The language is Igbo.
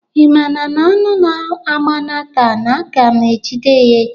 Ị maara na anụ a gbana taa na-aga m ejide ya echi?